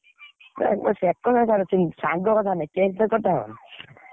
ସେ କଥା ଛାଡ ସାଙ୍ଗ କଥା ନାଇଁ, cake ଫେକ୍ କଟା ହବ ନା?